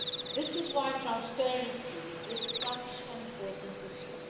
This is why transparency is such an important issue.